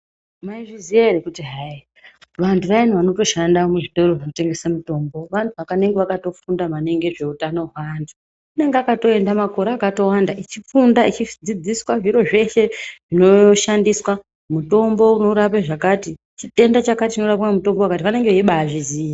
Maizviziva here kuti hai vantu vayani vanoshanda muzvitoro zvinotengesa mitombo vantu vanenge vakatofunda maningi nezvehutano wevantu. Anenge akatoenda makore akawanda achifunda achidzidziswa zviro zveshe zvinoshandiswa nemitombo inorapa zvakati, chitenda chakati chinorapwa nemutombo wakati vanenge veibatozviziya.